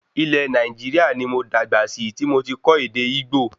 Ilé Nàìjíríà ní mo dàgbà sí tí mo tí kọ́ ède Ìgbò